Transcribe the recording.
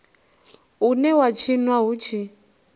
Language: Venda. une wa tshinwa hu tshi